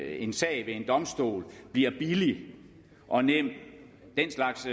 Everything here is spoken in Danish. en sag ved en domstol bliver billig og nem den slags